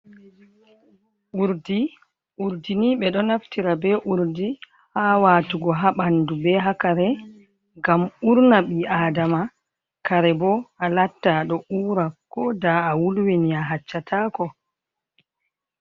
Urdini ɓe ɗo naftira be urdi ha watugo ha bandu be haa kare ngam urna ɓi aadama kare bo a latta aɗo ura ko da a wulwini a haccatako.